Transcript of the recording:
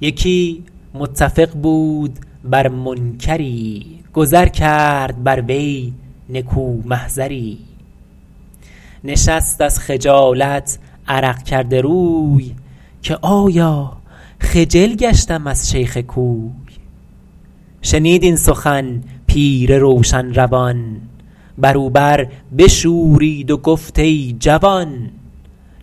یکی متفق بود بر منکری گذر کرد بر وی نکو محضری نشست از خجالت عرق کرده روی که آیا خجل گشتم از شیخ کوی شنید این سخن پیر روشن روان بر او بر بشورید و گفت ای جوان